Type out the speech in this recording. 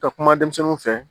Ka kuma denmisɛnnu fɛ